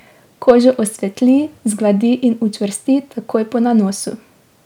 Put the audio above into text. Kožo osvetli, zgladi in učvrsti takoj po nanosu.